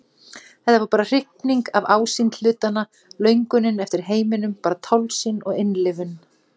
Þetta var bara hrifning af ásýnd hlutanna, löngunin eftir heiminum, bara tálsýn og innlifun.